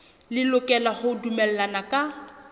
le lokela ho dumellana ka